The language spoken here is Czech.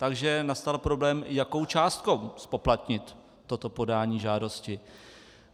Takže nastal problém, jakou částkou zpoplatnit toto podání žádosti.